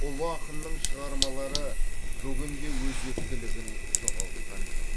ұлы ақынның шығармалары бүгін де өзектілігін жоғалтқан жоқ